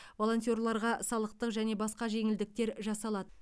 волонтерларға салықтық және басқа жеңілдіктер жасалады